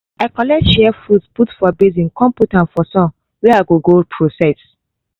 i collect shea fruit put for basin con put am for sun wey i go go process